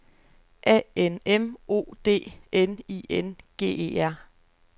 A N M O D N I N G E R